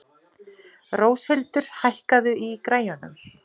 Róshildur, hækkaðu í græjunum.